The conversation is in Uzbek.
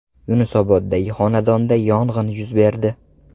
Yunusoboddagi xonadonda yong‘in yuz berdi.